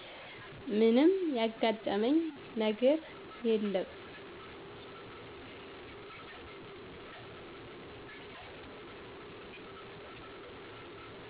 ምንም ያጋጠመኝ ነገር የለም